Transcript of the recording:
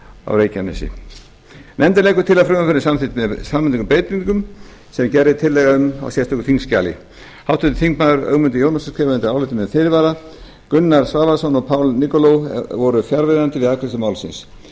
á reykjanesi nefndin leggur til að frumvarpið verði samþykkt með framangreindum breytingum sem gerð er tillaga um í sérstöku þingskjali háttvirtur þingmaður ögmundur jónasson skrifar undir álitið með fyrirvara gunnar svavarsson og paul nikolov voru fjarverandi við afgreiðslu málsins